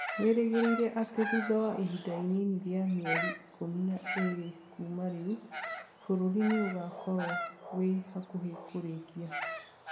wĩrĩgĩrĩire atĩ thutha wa ihinda inini rĩa mĩeri ikũmi na ĩrĩ kuuma rĩu, bũrũri nĩ ũgaakorwo wĩ hakuhĩ kũrĩkia